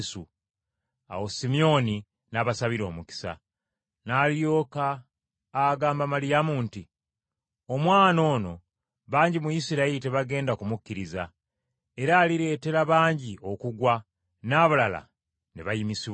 Awo Simyoni n’abasabira omukisa. N’alyoka n’agamba Maliyamu nti, “Omwana ono bangi mu Isirayiri tebagenda kumukkiriza, era alireetera bangi okugwa n’abalala ne bayimusibwa.